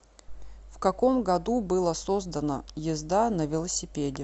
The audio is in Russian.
в каком году было создано езда на велосипеде